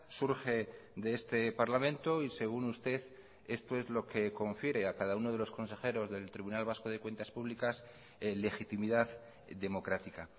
surge de este parlamento y según usted esto es lo que confiere a cada uno de los consejeros del tribunal vasco de cuentas públicas legitimidad democrática